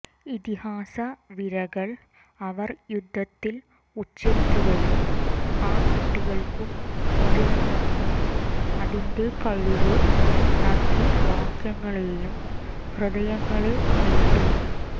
ഇതിഹാസ വിരകൾ അവർ യുദ്ധത്തിൽ ഉച്ചരിക്കുകയും ആ കുട്ടികൾക്കും മുതിർന്നവർക്കും അതിന്റെ കഴിവ് നന്ദി വാക്യങ്ങളെയും ഹൃദയങ്ങളെ നേടി